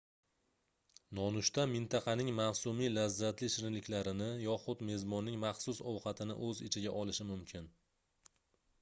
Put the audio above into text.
nonushta mintaqaning mavsumiy lazzatli shirinliklarini yoxud mezbonning maxsus ovqatini oʻz ichiga olishi mumkin